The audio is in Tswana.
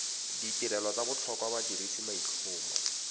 ditirelo tsa botlhokwa badirisi maitlhomo